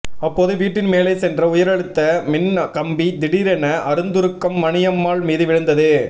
அப்போது வீட்டின் மேலே சென்ற உயர்அழுத்த மின் கம்பி திடீரென அறுந்துருக்மணியம்மாள் மீது விழுந்தது